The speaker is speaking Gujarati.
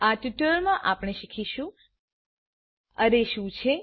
આ ટ્યુટોરીયલમાં આપણે શીખીશું અરે શું છે